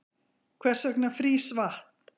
hvers vegna frýs vatn